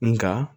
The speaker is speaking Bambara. Nga